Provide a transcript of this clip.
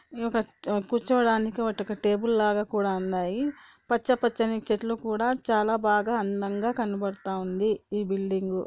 కూర్చోడానికి వట ఒక టేబుల్ లాగా కూడా ఉన్నాయి పచ్చ పచ్చని చెట్లు కూడా చాలా బాగా అందంగా కనపడుతుంది ఈ బిల్డింగ్--